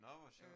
Nå hvor sjovt